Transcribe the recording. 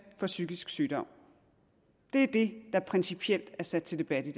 for psykisk sygdom det er det der principielt er sat til debat i